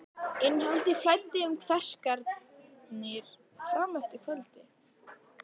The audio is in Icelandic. Innihaldið flæddi um kverkarnar fram eftir kvöldi.